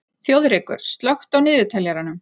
Þjóðrekur, slökktu á niðurteljaranum.